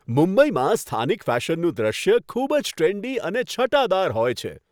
મુંબઈમાં સ્થાનિક ફેશનનું દ્રશ્ય ખૂબ જ ટ્રેન્ડી અને છટાદાર હોય છે.